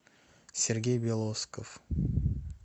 сергей белосков